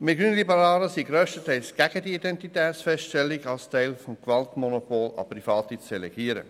Wir Grünliberalen sind grösstenteils dagegen, die Identitätsfeststellung als Teil des Gewaltmonopols an Private zu delegieren.